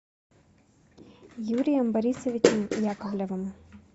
юрием борисовичем яковлевым